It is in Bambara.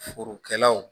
Forokɛlaw